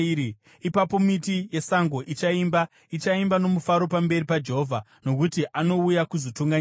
Ipapo miti yesango ichaimba, ichaimba nomufaro pamberi paJehovha, nokuti anouya kuzotonga nyika.